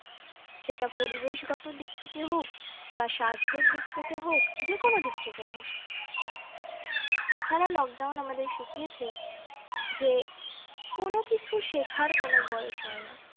সেটা পরিবেশ থেকে হোক বা স্বাস্থ্যের দিক থেকে হোক যেকোনো দেখতে হোক এছাড়াও lockdown আমাদেরকে শিখিয়েছে যে কোন কিছু শেখার কোন বয়স হয় না